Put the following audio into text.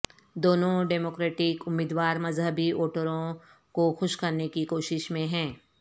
دونوں ڈیموکریٹ امیدوار مذہبی ووٹروں کو خوش کرنے کی کوشش میں ہیں